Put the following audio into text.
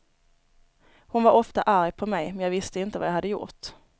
Hon var ofta arg på mig, men jag visste inte vad jag hade gjort.